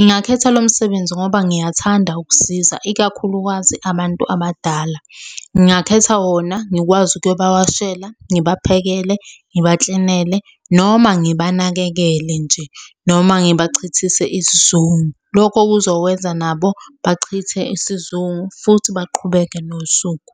Ngingakhetha lo msebenzi ngoba ngiyathanda ukusiza ikakhulukazi abantu abadala. Ngingakhetha wona ngikwazi ukuyobawawashela, ngibaphekele, ngibaklinele noma ngibanakekele nje, noma ngibachithise isizungu. Lokho kuzokwenza nabo bachithe isizungu futhi baqhubeke nosuku.